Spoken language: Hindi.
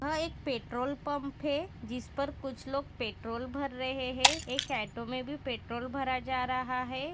यहाँ एक पेट्रोल पंप है जिसपर कुछ लोग पेट्रोल भर रहे है एक ऑटो में भी पेट्रोल भरा जा रहा है।